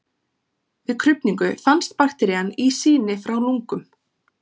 Við krufningu fannst bakterían í sýni frá lungum.